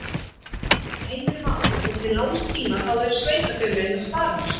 Heimir Már: Og til langs tíma þá eru sveitarfélögin að spara á þessu?